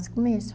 mesmo.